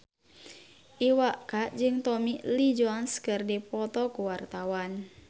Iwa K jeung Tommy Lee Jones keur dipoto ku wartawan